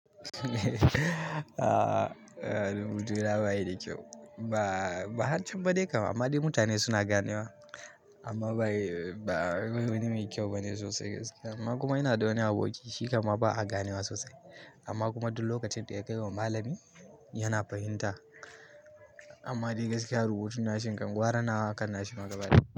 A'a, rubutu na ba yi da kyau. Ba, ba har can ba dai kam, amma dai mutane suna ganewa amma ba ba yi, ba wani mai kyau bane sosai gaskiya. Amma kuma ina da wani aboki shi kam ma ba a ganewa sosai amma kuma duk lokacin da ya kai wa malami yana fahimta. Amma dai gaskiya rubutu na sai inga gwara nawa akan nashi ma gaba ɗaya.